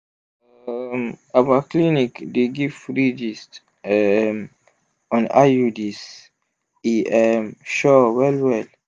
um our clinic dey give free gist um on iuds e um sure well well!